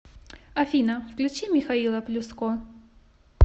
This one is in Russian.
афина включи михаила плюско